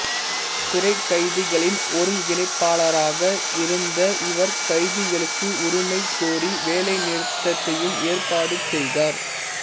சிறை கைதிகளின் ஒருங்கிணைப்பாளாராக இருந்த இவர் கைதிகளுக்கு உரிமை கோரி வேலைநிறுத்தத்தையும் ஏற்பாடு செய்தார்